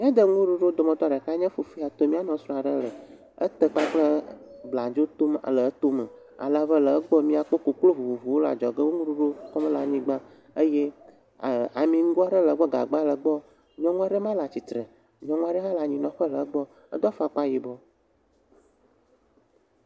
miade ŋuɖuɖu ɖeka ya nye fufue ya tom mia nusrɔ ɖe le e tè kple bladzo tom le etó me alebe le egbɔ miakpo koklo vovovowo le adzɔge wo ŋuɖuɖu fɔm le anyigbã eye ami ŋgɔ ɖe le gbɔ gagba le gbɔ nyɔŋua ɖe le atsitre nyɔŋua ɖe hã le anyinɔƒe le egbɔ edó afɔkpa yibɔ